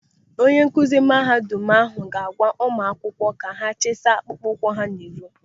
Onye nkụzi mahadum ahụ ga-agwa ụmụ akwụkwọ ka ha chisa akpụkpọ ụkwụ n'iro.